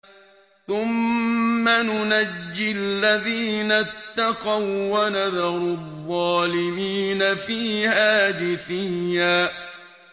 ثُمَّ نُنَجِّي الَّذِينَ اتَّقَوا وَّنَذَرُ الظَّالِمِينَ فِيهَا جِثِيًّا